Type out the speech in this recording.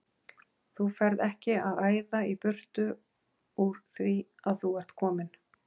Þú ferð ekki að æða í burtu úr því að þú ert kominn!